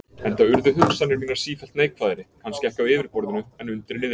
Enda urðu hugsanir mínar sífellt neikvæðari, kannski ekki á yfirborðinu en undir niðri.